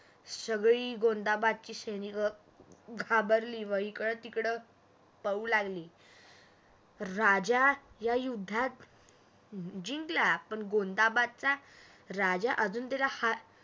सगळी गोंधाबदची सैनिक घाबरली व इकडं तिकडं पळू लागली. राजा या युद्धात जिंकला पण गोंधाबदचा राजा अजून त्याचाहार